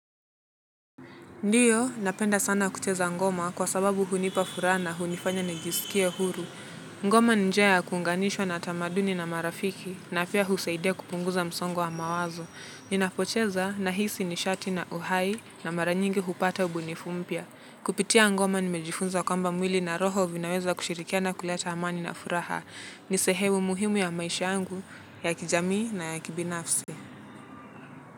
Ndiyo, napenda sana kucheza ngoma kwa sababu hunipa furaha na hunifanya nijisikie huru. Ngoma ni njia ya kuunganishwa na tamaduni na marafiki na pia husaidia kupunguza msongo wa mawazo. Ninapocheza nahisi nishati na uhai na maranyingi hupata ubunifu mpya. Kupitia ngoma nimejifunza kwamba mwili na roho vinaweza kushirikiana kuleta amani na furaha. Ni sehemu muhimu ya maisha yangu, ya kijamii na ya kibinafsi.